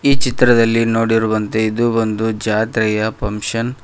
ಈ ಚಿತ್ರದಲ್ಲಿ ನೋಡಿರುವಂತೆ ಇದು ಒಂದು ಜಾತ್ರೆಯ ಫಂಕ್ಷನ್ .